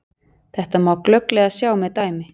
Þetta má glögglega sjá með dæmi.